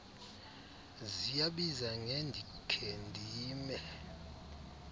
ziyabiza ngendikhe ndime